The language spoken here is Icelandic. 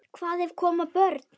Hvað ef koma börn?